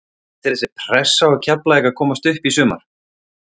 Finnst þér vera pressa á Keflavík að komast upp í sumar?